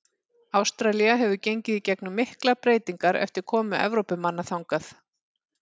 Ástralía hefur gengið í gegnum miklar breytingar eftir komu Evrópumanna þangað.